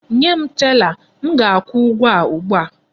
Nye m tela! M ga-akwụ ụgwọ a ugbu a!